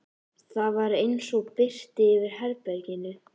Það var eins og birti yfir herberginu.